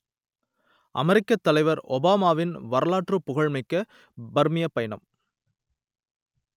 அமெரிக்கத் தலைவர் ஒபாமாவின் வரலாற்றுப் புகழ் மிக்க பர்மியப் பயணம்